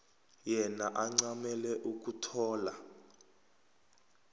yena ancamele ukuthola